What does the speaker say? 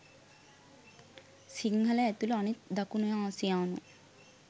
සිංහල ඇතුළු අනිත් දකුණ ආසියානු